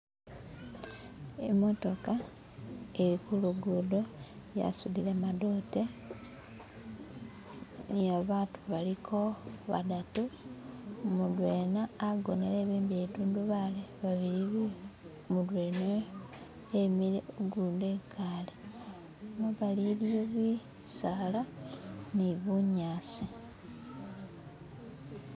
Imotoka ili kulugudo yasudile madoote ni babatu baliko badatu mudwena agonele evimbile ntundubaale babili mudwena emile ugundi ekaale mwebali iliyo bunyaasi ni bisaala